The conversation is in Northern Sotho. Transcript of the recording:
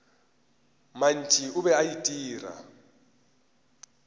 mantši o be a itira